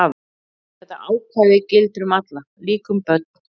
Þetta ákvæði gildir um alla, líka um börn.